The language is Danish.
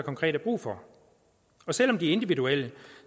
konkret er brug for og selv om de er individuelle